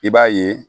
I b'a ye